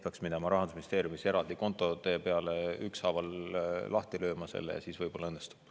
Peaks minema Rahandusministeeriumis eraldi kontode peale, need ükshaaval lahti lööma, siis võib-olla õnnestub.